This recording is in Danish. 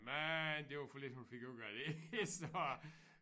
Men det var for lidt hun fik ud af det så